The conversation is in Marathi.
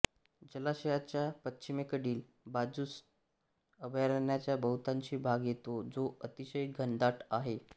जलाशयाच्या पश्चिमेकडील बाजूसच अभयारण्याचा बहुतांशी भाग येतो जो अतिशय घनदाट आहे